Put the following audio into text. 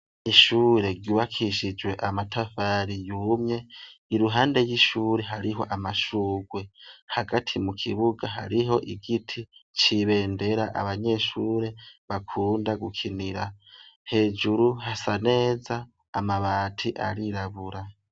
Mishure gibakishijwe amatafari yumye iruhande ry'ishure hariho amashurwe hagati mu kibuga hariho igiti cibendera abanyeshure bakunda gukinira hejuru hasa neza amabati arirabura.